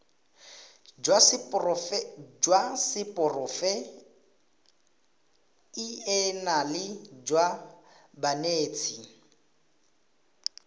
jwa seporofe enale jwa banetshi